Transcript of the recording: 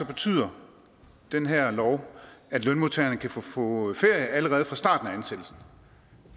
betyder den her lov at lønmodtagerne kan få ferie allerede fra starten af ansættelsen